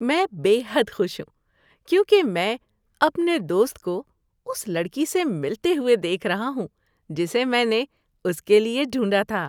میں بے حد خوش ہوں کیونکہ میں اپنے دوست کو اس لڑکی سے ملتے ہوئے دیکھ رہا ہوں جسے میں نے اس کے لیے ڈھونڈھا تھا۔